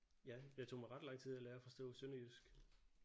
Ja det tog mig ret lang tid at lære at forstå sønderjysk